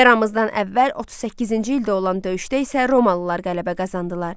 Eramızdan əvvəl 38-ci ildə olan döyüşdə isə Romalılar qələbə qazandılar.